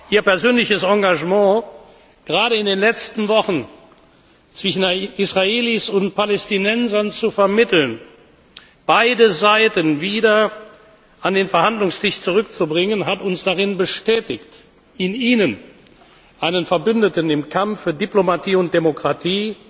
Ihr persönliches Engagement gerade in den letzten Wochen zwischen Israelis und Palästinensern zu vermitteln, beide Seiten wieder an den Verhandlungstisch zurückzubringen, hat uns darin bestätigt, in Ihnen einen Verbündeten im Kampf für Diplomatie und Demokratie,